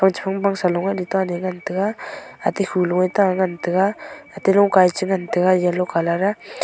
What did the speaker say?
pang shong bang saloe letaley ngan taiga ate khuloe ta ngan taiga ate longkae chingan taga yellow colour .